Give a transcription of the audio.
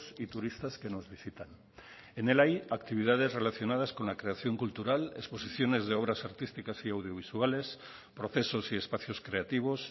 y turistas que nos visitan en él hay actividades relacionadas con la creación cultural exposiciones de obras artísticas y audiovisuales procesos y espacios creativos